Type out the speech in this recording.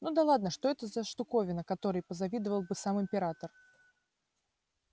ну да ладно что это за штуковина которой позавидовал бы сам император